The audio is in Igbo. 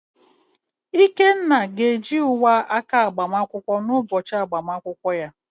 Ikenna ga-eji uwe aka agbamakwụkwọ n’ụbọchị agbamakwụkwọ ya.